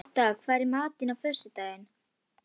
Lotta, hvað er í matinn á föstudaginn?